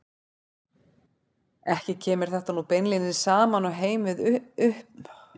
Ekki kemur þetta nú beinlínis saman og heim við uppburðarleysið í fyrri frásögnum af vettvangi.